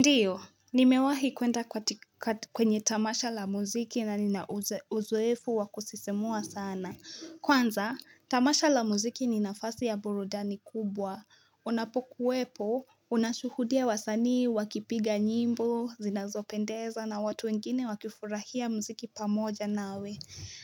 Ndiyo, nimewahi kuenda kwenye tamasha la muziki na nina uzoefu wa kusisimua sana. Kwanza, tamasha la muziki ni nafasi ya burudani kubwa. Unapokuwepo, unashuhudia wasanii, wakipiga nyimbo zinazopendeza na watu wengine wakifurahia muziki pamoja nawe.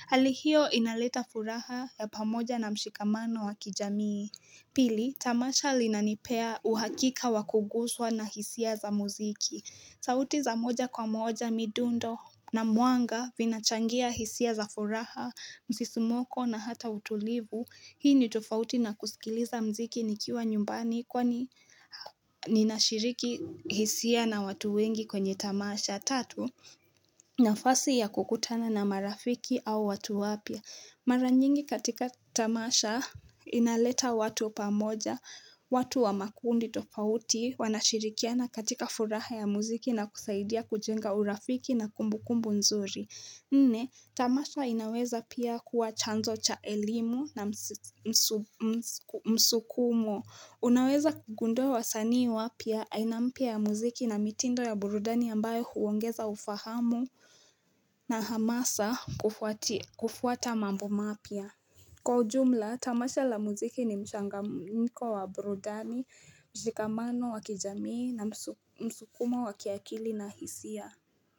Hali hio inaleta furaha ya pamoja na mshikamano wa kijamii. Pili, tamasha linanipea uhakika wa kuguswa na hisia za muziki. Sauti za moja kwa moja midundo na muanga vinachangia hisia za furaha, msisimoko na hata utulivu. Hii ni tafouti na kusikiliza mziki nikiwa nyumbani. Kwani ninashiriki hisia na watu wengi kwenye tamasha. Tatu, nafasi ya kukutana na marafiki au watu wapya. Mara nyingi katika tamasha inaleta watu pamoja. Watu wa makundi tofauti wanashirikiana katika furaha ya muziki na kusaidia kujenga urafiki na kumbukumbu nzuri. Nne, tamasha inaweza pia kuwa chanzo cha elimu na msukumo. Unaweza kugundua wasanii wapya, aina mpya ya muziki na mitindo ya burudani ambayo huongeza ufahamu. Na hamasa kufuata mambo mapya. Kwa ujumla, tamasha la muziki ni mchangamko wa burudani, mshikamano wa kijamii na msukumo wa kiakili na hisia.